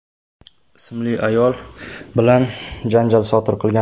ismli ayol bilan janjal sodir qilgan.